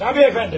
Təbii əfəndim.